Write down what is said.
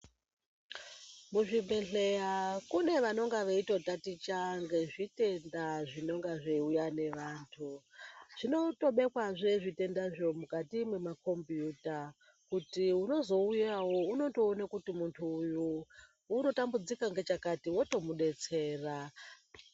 Muzvibhedhleya kune vanonga veitotachita ngezvitenda zvinonga zveiuya ngevantu zvinotobhekwazve zvitendazvo mukati mwemakombiyuta kuti unozouyawo unotoona kuti muntu uyu unotambudzika ngechakati wotomudetsera.